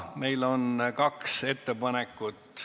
Meil on kaks ettepanekut ...